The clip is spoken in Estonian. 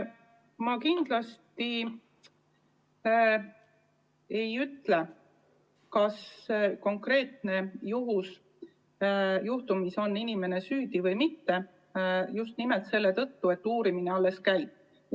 Ma kindlasti ei ütle, kas selles konkreetses juhtumis on inimene süüdi või mitte, just nimelt selle tõttu, et uurimine alles käib.